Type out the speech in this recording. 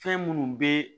Fɛn minnu bɛ